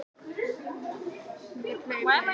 Þetta á þó ekki við um Hafnarfjörð.